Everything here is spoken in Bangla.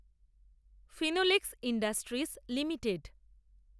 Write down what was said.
Finolex industries limited